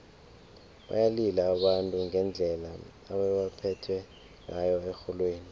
bayalila abantu ngendlela ebebaphethwe ngayo erholweni